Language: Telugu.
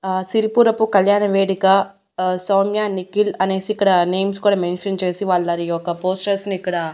ఆ సిరిపురపు కళ్యాణ వేడిక ఆ సౌమ్యా నిఖిల్ అనేసి ఇక్కడ నేమ్స్ కూడా మెన్షన్ చేసి వాళ్ళది ఒక పోస్టర్స్ ని ఇక్కడ--